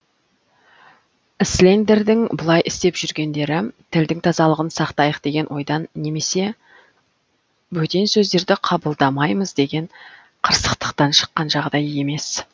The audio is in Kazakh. іслендердің бұлай істеп жүргендері тілдің тазалығын сақтайық деген ойдан немесе бөтен сөздерді қабылдамаймыз деген қырсықтықтан шыққан жағдай емес